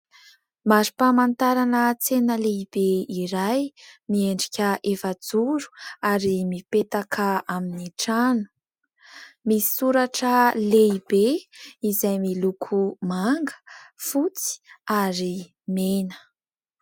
Mari-pamantarana tsena lehibe iray miendrika efajoro ary mipetaka amin'ny trano, misy soratra lehibe izay miloko manga fotsy ary mena.